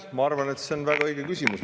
Ma arvan, et see on väga õige küsimus.